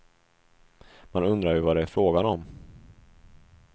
Man undrar ju vad det är frågan om.